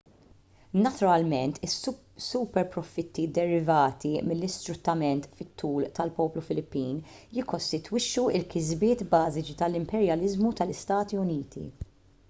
naturalment is-superprofitti derivati mill-isfruttament fit-tul tal-poplu filippin jikkostitwixxu l-kisbiet bażiċi tal-imperjaliżmu tal-istati uniti